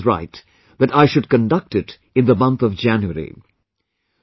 And Shweta is right that I should conduct it in the month of January